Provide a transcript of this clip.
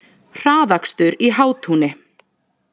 Hraðakstur í Hátúni